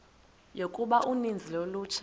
yokuba uninzi lolutsha